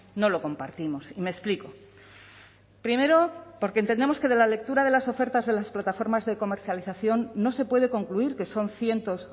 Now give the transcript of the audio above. no lo compartimos y me explico primero porque entendemos que de la lectura de las ofertas de las plataformas de comercialización no se puede concluir que son cientos